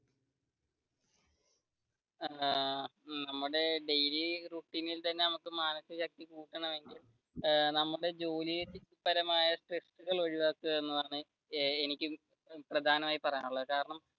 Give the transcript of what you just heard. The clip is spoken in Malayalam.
ഏർ നമ്മുടെ daily routine ഇൽ തന്നെ മാനസിക ശക്തി കൂടണമെങ്കിൽ നമ്മുടെ ജോലി പരമായ സ്‌ട്രെസ്സുകൾ ഒഴിവാക്കുക, എന്നതാണ് എനിക്ക് പ്രധാനമായി പറയാനുള്ളത് കാരണം